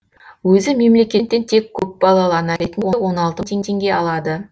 өзі мемлекеттен тек көпбалалы ана ретінде он алты мың теңге алады